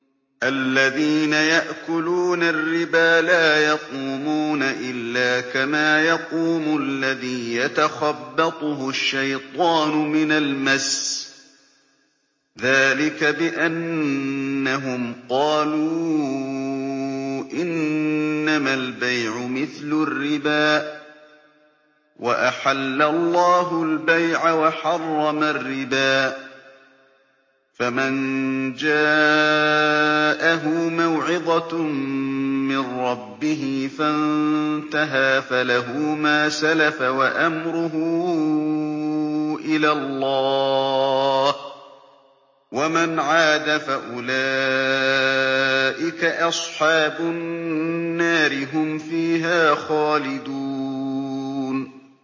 الَّذِينَ يَأْكُلُونَ الرِّبَا لَا يَقُومُونَ إِلَّا كَمَا يَقُومُ الَّذِي يَتَخَبَّطُهُ الشَّيْطَانُ مِنَ الْمَسِّ ۚ ذَٰلِكَ بِأَنَّهُمْ قَالُوا إِنَّمَا الْبَيْعُ مِثْلُ الرِّبَا ۗ وَأَحَلَّ اللَّهُ الْبَيْعَ وَحَرَّمَ الرِّبَا ۚ فَمَن جَاءَهُ مَوْعِظَةٌ مِّن رَّبِّهِ فَانتَهَىٰ فَلَهُ مَا سَلَفَ وَأَمْرُهُ إِلَى اللَّهِ ۖ وَمَنْ عَادَ فَأُولَٰئِكَ أَصْحَابُ النَّارِ ۖ هُمْ فِيهَا خَالِدُونَ